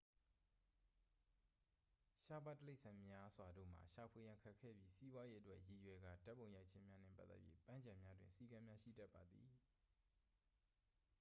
ရှားပါးတိရစ္ဆာန်များစွာတို့မှာ ရှာဖွေရန်ခက်ခဲပြီး စီးပွားရေးအတွက်ရည်ရွယ်ကာဓာတ်ပုံရိုက်ခြင်းများနှင့်ပတ်သက်၍ ပန်းခြံများတွင် စည်းကမ်းများရှိတတ်ပါသည်